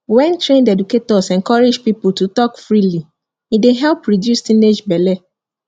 when trained educators encourage people to talk freely e dey help reduce teenage belle